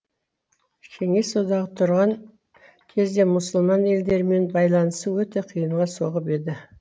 кеңес одағы тұрған кезде мұсылман елдермен байланысу өте қиынға соғып еді